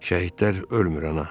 Şəhidlər ölmür ana.